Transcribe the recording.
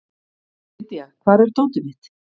Lydia, hvar er dótið mitt?